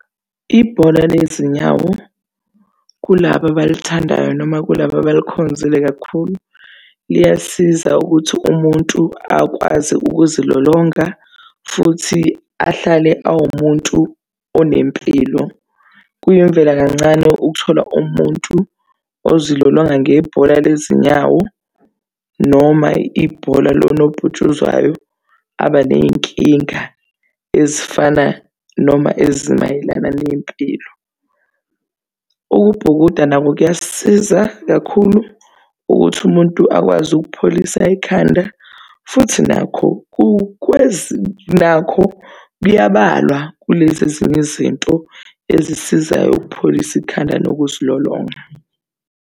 Ibhola lezinyawo kulaba abalithandayo noma kulaba abalikhonzile kakhulu, liyasiza ukuthi umuntu akwazi ukuzilolonga futhi ahlale awumuntu onempilo. Kuyimvela kancane ukuthola umuntu ozilolonga ngebhola lezinyawo noma ibhola lonobhutshuzwayo abaney'kinga ezifana noma ezimayelana nempilo. Ukubhukuda nako kuyasiza kakhulu ukuthi umuntu akwazi ukupholisa ikhanda futhi nakho nakho kuyabalwa kulezi ezinye izinto ezisizayo ukupholisa ikhanda nokuzilolonga.